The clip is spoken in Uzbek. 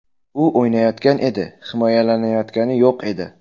U o‘ynayotgan edi, himolanayotgani yo‘q edi.